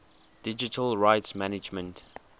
digital rights management